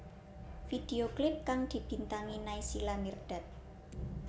Video klip kang dibintangi Naysila Mirdad